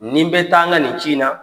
Nin bɛ taa ŋa nin ci in na